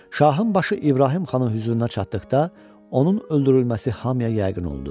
Şahın başı İbrahim Xanın hüzuruna çatdıqda, onun öldürülməsi hamıya yəqin oldu.